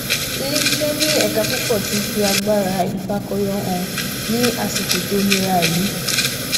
ilé iṣẹ ní ẹka púpọ ti fi agbára ifakọyọ hàn ní àsìkò tó nira yìí